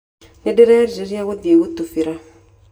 Nĩndĩrerirĩria gũthiĩ gũtubĩra.